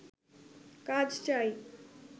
কাজ চাই